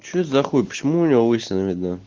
что за хуй почему у него лысина видна